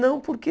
Não, porque...